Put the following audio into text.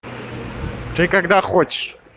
ты когда хочешь